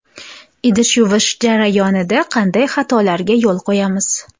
Idish yuvish jarayonida qanday xatolarga yo‘l qo‘yamiz?.